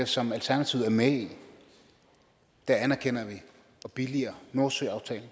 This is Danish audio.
som alternativet er med i anerkender og billiger nordsøaftalen